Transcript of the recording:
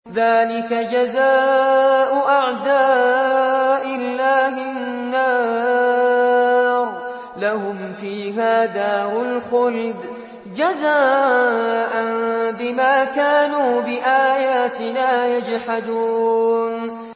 ذَٰلِكَ جَزَاءُ أَعْدَاءِ اللَّهِ النَّارُ ۖ لَهُمْ فِيهَا دَارُ الْخُلْدِ ۖ جَزَاءً بِمَا كَانُوا بِآيَاتِنَا يَجْحَدُونَ